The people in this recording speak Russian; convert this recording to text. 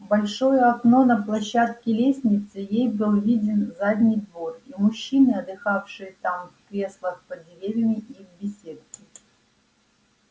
в большое окно на площадке лестницы ей был виден задний двор и мужчины отдыхавшие там в креслах под деревьями и в беседке